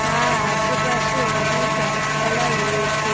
আর আশেপাশে অনেক গাছপালা রয়েছে।